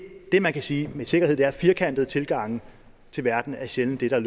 det man kan sige med sikkerhed er at firkantede tilgange til verden sjældent er